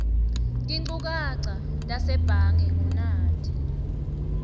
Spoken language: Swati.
tinchukaca tasebhange ngunati